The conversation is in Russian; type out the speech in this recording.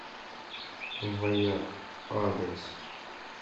ваяк адрес